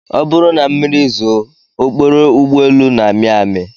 Ọ bụrụ na mmiri zoo, okporo ụgbọelu na-amị amị